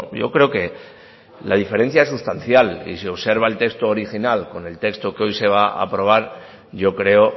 yo creo que la diferencia es sustancial y si observa el texto original con el texto que hoy se va a aprobar yo creo